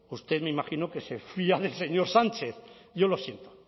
usted me imagino que se fía del señor sánchez y yo lo siento